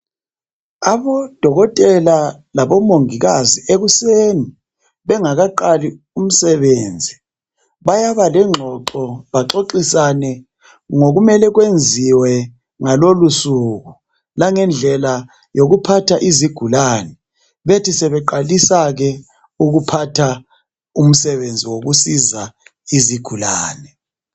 Abodokotela labomongikazi ekuseni bengakaqali umsebenzi bayaba lencoxo bexoxisane ngokumele kwenziwe ngalelosuku langendlela zokuphatha izigulane bethi sebeqalisake ukuphatha umsebenzi wokusiza izigulane